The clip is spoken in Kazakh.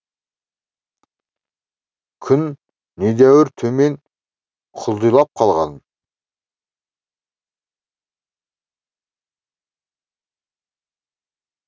күн недәуір төмен құлдилап қалған